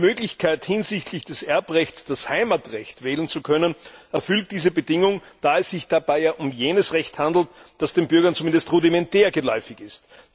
Die Möglichkeit hinsichtlich des Erbrechts, das Heimatrecht wählen zu können, erfüllt diese Bedingung, da es sich dabei ja um jenes Recht handelt, das den Bürgern zumindest rudimentär geläufig ist.